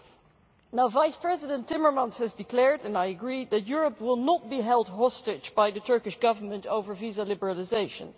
First Vice President Timmermans has declared, and I agree, that Europe will not be held hostage by the Turkish Government over visa liberalisation.